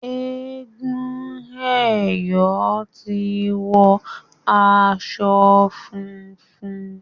egún eyo tí wò aṣọ fúnfún.